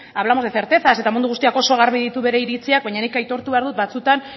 hablamos de certezas eta mundu guztiak oso garbi ditu bere iritziak baina nik aitortu behar dut batzuetan